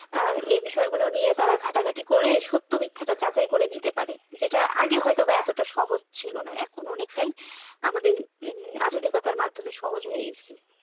এ বিষয়গুলো নিয়ে তারা ঘাটাঘাটি করে সত্য মিথ্যাটা যাচাই করতে পারে। যেটা আগে হয়তো বা এতটা সহজ ছিল না এখন অনেকটাই আমাদের আধুনিকতার মাধ্যমে সহজ হয়ে এসেছে।